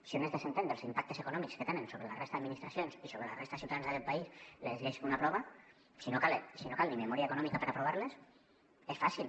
si un es desentén dels impactes econòmics que tenen sobre la resta d’administracions i sobre la resta de ciutadans d’aquest país les lleis que un aprova si no cal ni memòria econòmica per aprovar les és fàcil